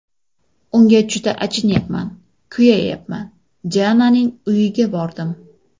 Unga juda achinayapman, kuyayapman... Diananing uyiga bordim.